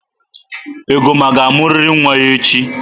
Egoma ga-amụrịrị nwaa echi!